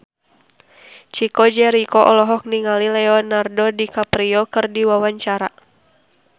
Chico Jericho olohok ningali Leonardo DiCaprio keur diwawancara